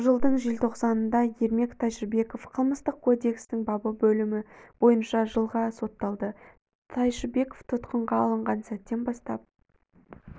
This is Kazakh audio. жылдың желтоқсанында ермек тайшыбеков қылмыстық кодексінің бабы бөлімі бойынша жылға сотталды тайшыбеков тұтқынға алынған сәттен бастап